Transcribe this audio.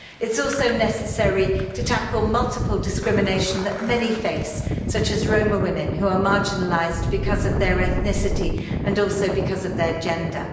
It's also necessary to tackle multiple discrimination that many face, such as Roma women, who are marginalised because of their ethnicity and also because of their gender.